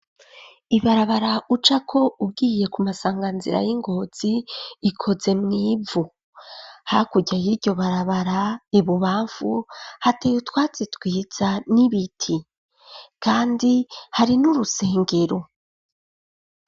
Ibarabara ucako ugiye ku masanganzira y'i Ngozi, ikoze mw'ivu; hakurya y'iryo barabara ibubamfu, hateye utwatsi twiza n'ibiti, kandi hari n'urusengero.